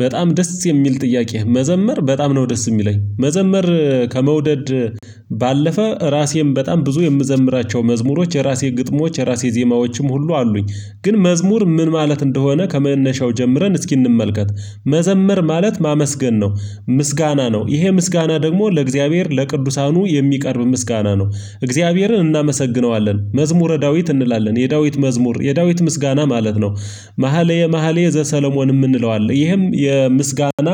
በጣም ደስ የሚል ጥያቄ፣ መዘመር በጣም ነው ደስ የሚለኝ። መዘመር ከመውደድ ባለፈ ራሴን በጣም ብዙ የምዘምራቸው መዝሙሮች፣ የራሴ ግጥሞች፣ የራሴ ዜማዎችም ሁሉ አሉኝ። ግን መዝሙር ምን ማለት እንደሆነ ከመነሻው ጀምረን እስኪ እንመልከት። መዘምር ማለት ማመስገን ነው። ምስጋና ነው፤ ይሄ ምስጋና ደግሞ ለእግዚአብሔር ለቅዱሳኑ የሚቀርብ ምስጋና ነው። እግዚአብሔርን እናመሰግነዋለን። መዝሙረ ዳዊት እንላለን፣ የዳዊት መዝሙር፣ የዳዊት ምስጋና ማለት ነው። መሃሌ መሃሌ ዘሰለሞንም እንለዋለን፤ ይህም የምስጋና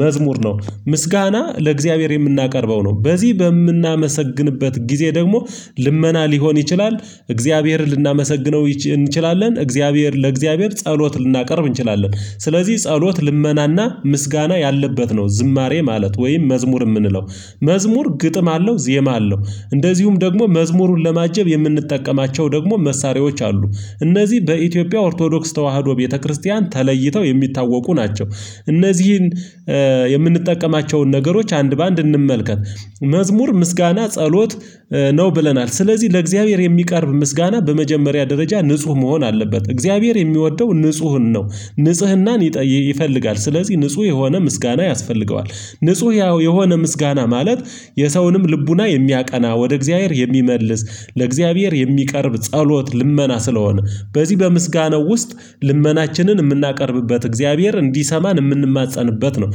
መዝሙር ነው። ምስጋና ለእግዚአብሔር የምናቀርበው ነው። በዚህ በምናመሰግንበት ጊዜ ደግሞ ልመና ሊሆን ይችላል፣ እግዚአብሔርን ልናመሰግነው እንችላለን፣ እግዚአብሔር፤ ለእግዚአብሔር ጸሎት ልናቀርብ እንችላለን። ስለዚህ ጸሎት፣ ልመናና ምስጋና ያለበት ነው ዝማሬ ማለት ወይም መዝሙር የምንለው። መዝሙር ግጥም አለው፣ ዜማ አለው። እንደዚሁም ደግሞ መዝሙሩን ለማጀብ የምንጠቀማቸው ደግሞ መሳሪያዎች አሉ። እነዚህ በኢትዮጵያ ኦርቶዶክስ ተዋህዶ ቤተክርስቲያን ተለይተው የሚታወቁ ናቸው። እነዚህን የምንጠቀማቸውን ነገሮች አንድ በአንድ እንመልከት። መዝሙር ምስጋና፣ ጸሎት ነው ብለናል። ስለዚህ ለእግዚአብሔር የሚቀርብ ምስጋና በመጀመሪያ ደረጃ ንጹህ መሆን አለበት። እግዚአብሔር የሚወደው ንጹህን ነው። ንጽህናን ይፈልጋል። ስለዚህ ንጹህ የሆነ ምስጋና ያስፈልገዋል። ንጹህ ያው የሆነ ምስጋና ማለት የሰውንም ልቡና የሚያቀና፣ ወደ እግዚአብሔር የሚመልስ፣ ለእግዚአብሔር የሚቀርብ ጸሎት፣ ልመና ስለሆነ። በዚህ በምስጋናው ውስጥ ልመናችንን የምናቀርብበት፣ እግዚአብሔር እንዲሰማን የምንማፀንበት ነው።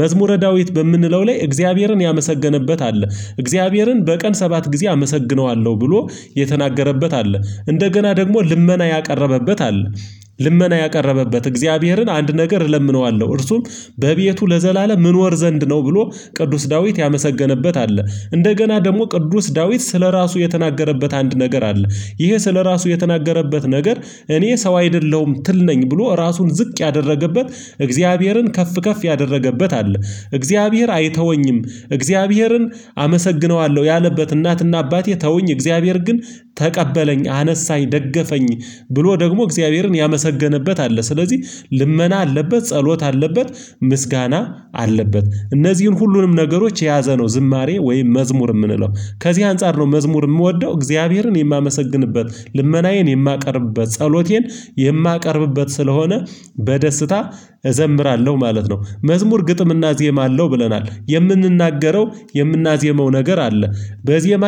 መዝሙረ ዳዊት በምንለው ላይ እግዚአብሔርን ያመሰገነበት አለ። እግዚአብሔርን በቀን ሰባት ጊዜ አመሰግነዋለሁ ብሎ የተናገረበት አለ። እንደገና ደግሞ ልመና ያቀረበበት አለ። ልመና ያቀረበበት፣ እግዚአብሔርን አንድ ነገር እለምነዋለሁ፣ እርሱም በቤቱ ለዘላለም እኖር ዘንድ ነው ብሎ ቅዱስ ዳዊት ያመሰገነበት አለ። እንደገና ደግሞ ቅዱስ ዳዊት ስለራሱ የተናገረበት አንድ ነገር አለ። ይሄ ስለራሱ የተናገረበት ነገር እኔ ሰው አይደለሁም ትል ነኝ፣ ብሎ ራሱን ዝቅ ያደረገበት፣ እግዚአብሔርን ከፍ ከፍ ያደረገበት አለ። እግዚአብሔር አይተወኝም፣ እግዚአብሔርን አመሰግነዋለሁ ያለበት፣ እናትና አባቴ ተውኝ እግዚአብሔር ግን ተቀበለኝ፣ አነሳኝ፣ ደገፈኝ፣ ብሎ ደግሞ እግዚአብሔርን ያመሰገንበት አለ። ስለዚህ ልመና አለበት፣ ጸሎት አለበት፣ ምስጋና አለበት። እነዚህን ሁሉንም ነገሮች የያዘ ነው ዝማሬ ወይ መዝሙር የምንለው። ከዚህ አንፃር ነው መዝሙር የምወደው። እግዚአብሔርን የማመሰግንበት፣ ልመናዬን የማቀርብበት፣ ጸሎቴን የማቀርብበት ስለሆነ በደስታ እዘምራለሁ ማለት ነው። መዝሙር ግጥምና ዜማ አለው ብለናል። የምንናገረው፣ የምናዜመው ነገር አለ በዜማ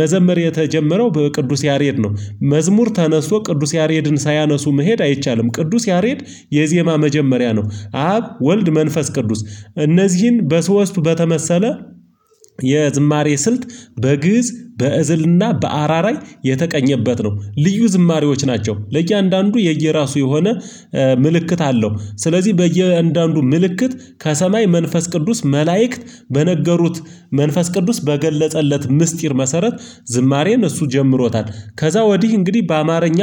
መዘመር የተጀመረው በቅዱስ ያሬድ ነው። መዝሙር ተነስቶ ቅዱስ ያሬድን ሳያነሱ መሄድ አይቻልም። ቅዱስ ያሬድ የዜማ መጀመሪያ ነው። አብ፣ ወልድ፣ መንፈስ ቅዱስ፤ እነዚህን በሶስቱ በተመሰለ የዝማሬ ስልት በግእዝ፣ በእዝልና በአራራይ የተቀኘበት ነው። ልዩ ዝማሬዎች ናቸው። ለእያንዳንዱ የየራሱ የሆነ ምልክት አለው። ስለዚህ በእያንዳንዱ ምልክት ከሰማይ መንፈስ ቅዱስ መላእክት በነገሩት፣ መንፈስ ቅዱስ በገለጸለት ምስጢር መሰረት ዝማሬን እሱ ጀምሮታል። ከዛ ወዲህ እንግዲህ በአማርኛ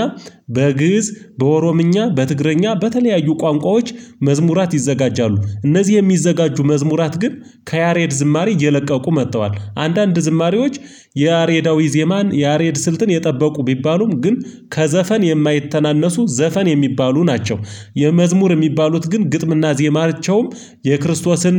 በግእዝ፣ በኦሮምኛ፣ በትግረኛ፣ በተለያዩ ቋንቋዎች መዝሙራት ይዘጋጃሉ። እነዚህ የሚዘጋጁ መዝሙራት ግን ከያሬድ ዝማሬ እየለቀቁ መጥተዋል። አንዳንድ ዝማሬዎች የያሬዳዊ ዜማን፣ የያሬድ ስልትን የጠበቁ ቢባሉም፣ ግን ከዘፈን የማይተናነሱ፣ ዘፈን የሚባሉ ናቸው። የመዝሙር የሚባሉት ግን ግጥምና ዜማሪያቸውም የክርስቶስን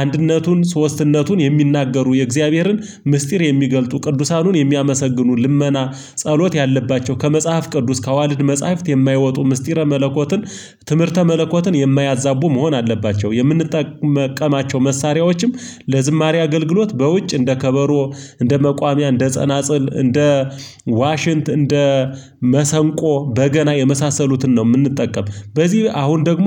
አንድነቱን፣ ሶስትነቱን የሚናገሩ፣ የእግዚአብሔርን ምስጢር የሚገልጡ፣ ቅዱሳኑን የሚያመሰግኑ፣ ልመና፣ ጸሎት ያለባቸው፣ ከመጽሐፍ ቅዱስ፣ ከዋልድ መጽሐፍት የማይወጡ፣ ምስጢረ መለኮትን፣ ትምህርተ መለኮትን የማያዛቡ መሆን አለባቸው። የምንጠቀማቸው መሳሪያዎችም ለዝማሬ አገልግሎት በውጭ እንደ ከበሮ፣ እንደ መቋሚያ፣ እንደ ጸናጽል፣ እንደ ዋሽንት፣ እንደ መሰንቆ፣ በገና የመሳሰሉትን ነው የምንጠቀም። በዚህ አሁን ደግሞ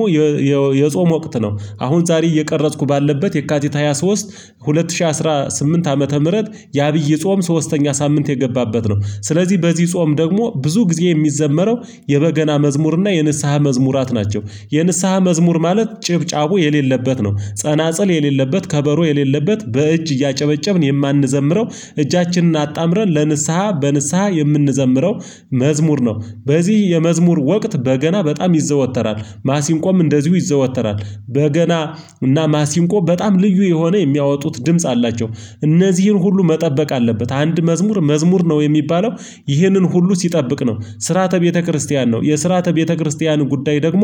የጾም ወቅት ነው፣ አሁን ዛሬ እየቀረጽኩ ባለበት የካቲት ሃያ ሶስት ሁለት ሺህ አስራ ስምንት ዓመተ ምህረት፣ የአብይ ጾም ሶስተኛ ሳምንት የገባበት ነው። ስለዚህ በዚህ ጾም ደግሞ ብዙ ጊዜ የሚዘመረው የበገና መዝሙር እና የንስሃ መዝሙራት ናቸው። የንስሃ መዝሙር ማለት ጭብጫቡ የሌለበት ነው። ጸናጽል የሌለበት፣ ከበሮ የሌለበት፣ በእጅ እያጨበጨብን የማንዘምረው እጃችንን አጣምረን፣ ለንስሃ፣ በንስሃ የምንዘምረው መዝሙር ነው። በዚህ የመዝሙር ወቅት በገና በጣም ይዘወተራል፤ ማሲንቆም እንደዚሁ ይዘወተራል፤ በገና እና ማሲንቆ በጣም ልዩ የሆነ የሚያወጡት ድምጽ አላቸው። እነዚህን ሁሉ መጠበቅ አለበት፤ አንድ መዝሙር መዝሙር ነው የሚባለው ይህንን ሁሉ ሲጠብቅ ነው። ስርዓተ ቤተክርስቲያን ነው፤ የስርአተ ቤተክርስቲያን ጉዳይ ደግሞ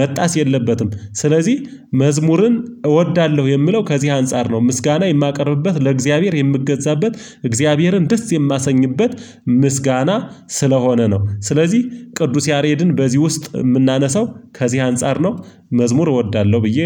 መጣስ የለበትም። ስለዚህ መዝሙርን እወዳለሁ የሚለው ከዚህ አንፃር ነው። ምስጋና የማቀርብበት፣ ለእግዚአብሔር የምገዛበት፣ እግዚአብሔርን ደስ የማሰኝበት፣ ምስጋና ስለሆነ ነው። ስለዚህ ቅዱስ ያሬድን በዚህ ውስጥ የምናነሳው ከዚህ አንፃር ነው። መዝሙር እወዳለሁ ብዬ